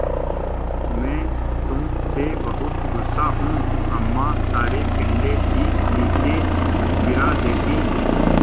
मैं तुम से बहुत गु़स्सा हूँ अम्मा सारे पिल्ले ही नीचे गिरा देतीं